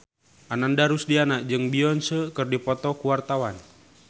Ananda Rusdiana jeung Beyonce keur dipoto ku wartawan